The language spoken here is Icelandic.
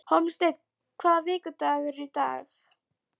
Hólmsteinn, hvaða vikudagur er í dag?